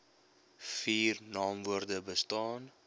vier naamwoorde bestaan